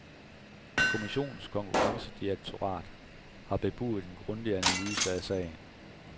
Kommissionens konkurrencedirektorat har bebudet en grundig analyse af sagen.